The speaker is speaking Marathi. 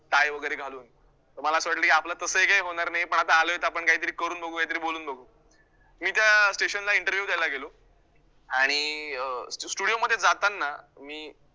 tie वैगरे घालून, तर मला असं वाटलं की, आपलं तसंही काही होणार नाही पण आता आलोय तर आपण काहीतरी करून बघु काहीतरी बोलून बघु मी त्या station ला interview द्यायला गेलो आणि अं studio मध्ये जाताना मी